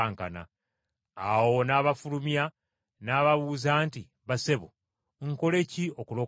Awo n’abafulumya, n’ababuuza nti, “Bassebo, nkole ki okulokolebwa?”